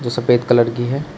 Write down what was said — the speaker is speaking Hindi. जो सफेद कलर की है।